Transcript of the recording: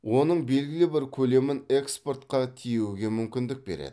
оның белгілі бір көлемін экспортқа тиеуге мүмкіндік береді